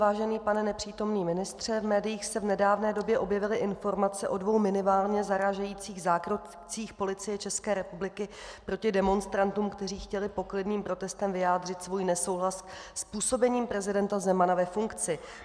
Vážený pane nepřítomný ministře, v médiích se v nedávné době objevily informace o dvou minimálně zarážejících zákrocích Policie České republiky proti demonstrantům, kteří chtěli poklidným protestem vyjádřit svůj nesouhlas s působením prezidenta Zemana ve funkci.